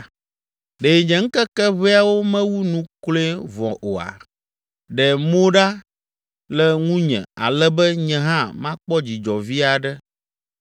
Ɖe nye ŋkeke ʋɛawo mewu nu kloe vɔ oa? Ɖe mo ɖa le ŋunye ale be nye hã makpɔ dzidzɔ vi aɖe,